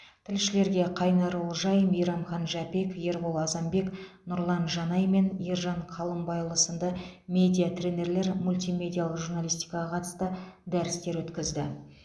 тілшілерге қайнар олжай мейрамхан жәпек ербол азанбек нұрлан жанай мен ержан қалымбайұлы сынды медиа тренерлер мультимедиалық журналистикаға қатысты дәрістер өткізді